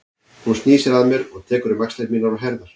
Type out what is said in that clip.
Hún snýr sér að mér og tekur um axlir mínar og herðar.